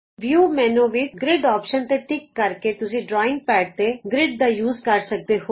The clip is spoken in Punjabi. ਵਿਊ ਮੈਨਣੂ ਵਿਚ ਗਰਿਡ ਵਿਕਲਪ ਤੇ ਟਿਕ ਕਰਕੇ ਤੁਸੀਂ ਡਰਾਇੰਗ ਪੈਡ ਤੇ ਗਰਿਡ ਦਾ ਪ੍ਰਯੋਗ ਕਰ ਸਕਦੇ ਹੋ